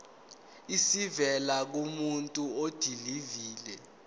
esivela kumuntu odilive